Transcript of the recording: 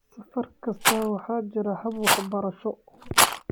Safar kasta, waxaa jira hab-waxbarasho."